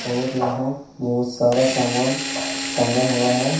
और यहां बहुत सारा समान टंगा हुआ है।